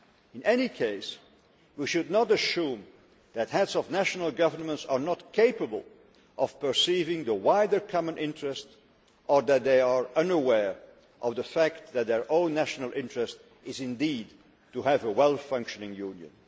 In any case, we should not assume that heads of national governments are not capable of perceiving the wider common interest or that they are unaware of the fact that their own national interest is indeed to have a well functioning Union.